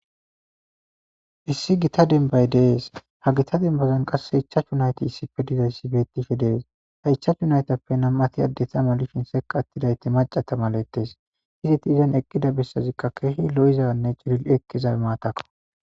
issi gita dembay de'es ha gita denbazan qasse ichachu nayti issipfe dizayssi bettife dees ha ichachu naytappe nam7ati addeta malifin seqa attidayti macata malettes hizeti izan eqqida bessazikka keehi lo7izanne ceril ekkeza maatakko